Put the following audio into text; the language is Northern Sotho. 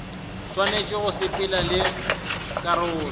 swanetše go sepelelana le karolo